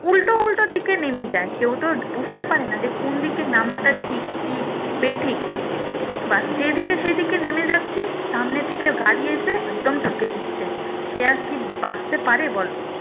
থেকে নেমে যায় কেও তো আর বুঝতে পারে না যে কোন দিকে নামাটা ঠিক বেঠিক বাস যেদিকে সেদিকে নেমে যাচ্ছে সামনে থেকে গাড়ি এসে একদম ঠুকে দিচ্ছে সে আর কি বাঁচতে পারে বলো